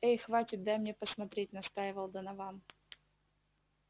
эй хватит дай мне посмотреть настаивал донован